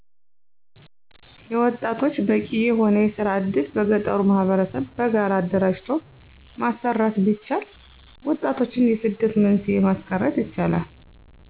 የወጣቶች በቂ የሆነ የስራ እድል በገጠሩ ማህበረሰብ በጋራ አደራጅቶ ማሰራት ቢቻል ወጣቶችን የስደት መንስኤ ማስቀርት ይቻላል።